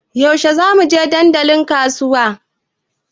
Yaushe za mu je dandalin kasuwa?